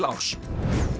árs